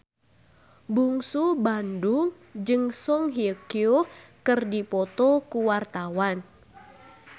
Bungsu Bandung jeung Song Hye Kyo keur dipoto ku wartawan